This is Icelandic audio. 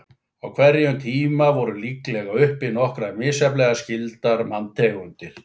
Á hverjum tíma voru líklega uppi nokkrar misjafnlega skyldar manntegundir.